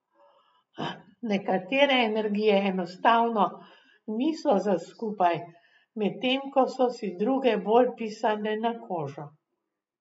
Nekatere energije enostavno niso za skupaj, medtem ko so si druge bolj pisane na kožo.